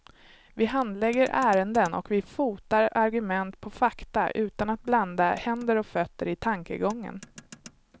Vi handlägger ärenden och vi fotar argument på fakta utan att blanda händer och fötter i tankegången.